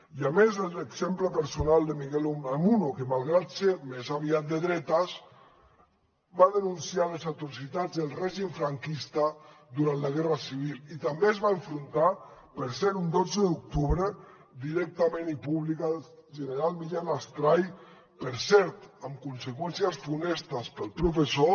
i a més l’exemple personal de miguel de unamuno que malgrat ser més aviat de dretes va denunciar les atrocitats del règim franquista durant la guerra civil i també es va enfrontar per cert un dotze d’octubre directament i públicament amb el general millán astray per cert amb conseqüències funestes per al professor